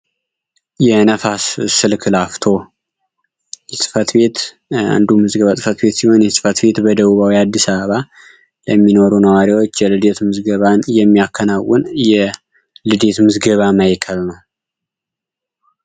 የነፋስ ስልክ ላፍቶ ጽፈት ቤት አንዱ ምዝግባ ጽፈት ቤት ሲሆን የጽፈት ቤት በደቡባዊ አዲስ አበባ ለሚኖሩ ነዋሪያዎች የልደት ምዝገባን የሚያከናውን የልዴት ምዝገባ ማእከል ነው።